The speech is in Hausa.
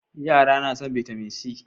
yara na son bitamin c